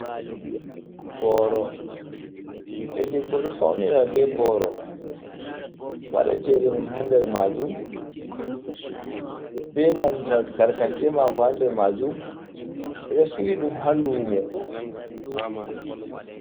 Boro, ɓiɗdo debbo ɗo somira be boro, waɗa chede mun ha nder ma jum, be nanta tarkace mako ha nder majum, ɓe ɗo sili ɗum ha lumo.